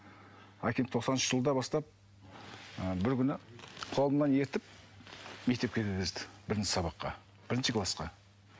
әкем тоқсаныншы жылдан бастап ы бір күні қолымнан ертіп мектепке кіргізді бірінші сабаққа бірінші класқа